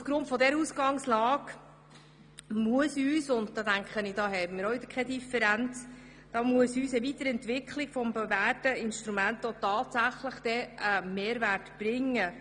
Aufgrund dieser Ausgangslage muss uns eine Weiterentwicklung dieses bewährten Instruments tatsächlich einen Mehrwert bringen.